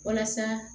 Walasa